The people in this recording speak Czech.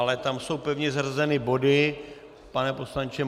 Ale tam jsou pevně zařazeny body, pane poslanče.